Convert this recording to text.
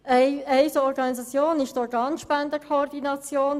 Eine solche Organisation ist die Organspendenkoordination.